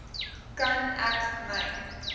kan ek my